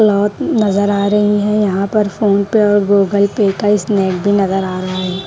लात नजर आ रहे है यहां पर फोन पे और गूगल पे का स्नैप भी नजर आ रहा है।